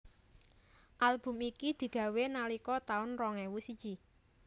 Album iki digawé nalika taun rong ewu siji